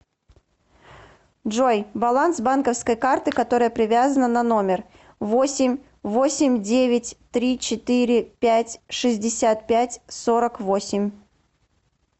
джой баланс банковской карты которая привязана на номер восемь восемь девять три четыре пять шестьдесят пять сорок восемь